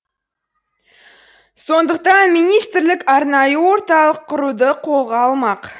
сондықтан министрлік арнайы орталық құруды қолға алмақ